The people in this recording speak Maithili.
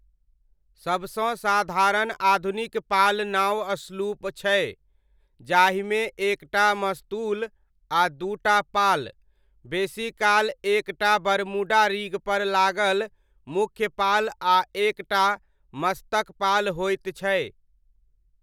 सबसँ साधारण आधुनिक पाल नाव स्लूप छै, जाहिमे एक टा मस्तूल आ दू टा पाल, बेसीकाल एक टा बरमूडा रिग पर लागल मुख्य पाल आ एक टा मस्तक पाल होइत छै।